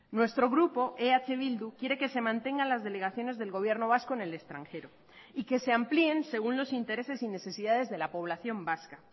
nuestro grupo eh bildu quiere que se mantengan las delegaciones del gobierno vasco en el extranjero y que se amplíen según los intereses y necesidades de la población vasca